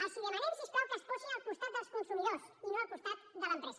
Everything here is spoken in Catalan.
els demanem si us plau que es posin al costat dels consumidors i no al costat de l’empresa